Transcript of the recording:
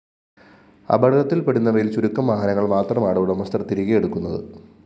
അപകടത്തില്‍പ്പെടുന്നവയില്‍ ചുരുക്കം വാഹനങ്ങള്‍ മാത്രമാണ് ഉടമസ്ഥര്‍ തിരികെയെടുക്കുന്നത്